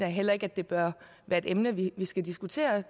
heller ikke at det bør være et emne vi skal diskutere